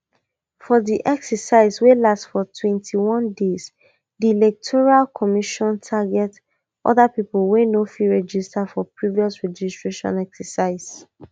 for di exercise wey last for twenty-one days di electoral commission target oda pipo wey no fit register for previous registration exercises